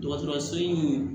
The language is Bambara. Dɔgɔtɔrɔso in